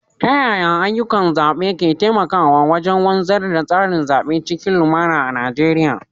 Ta yaya ayyukan zaɓe ke taimakawa wajen wanzar da tsarin zaɓe cikin lumana a Najeriya?